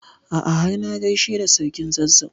A'a har na gaishe da sarkin Zazzau.